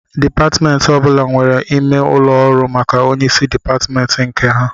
Dịpatmentị ọbụla nwere ime ụlọ ọrụ maka onyeisi dịpatmentị nke ha